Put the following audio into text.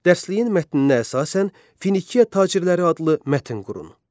Dərsləyin mətninə əsasən Finiya tacirləri adlı mətn qurun.